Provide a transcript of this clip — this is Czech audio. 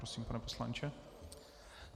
Prosím, pane poslanče.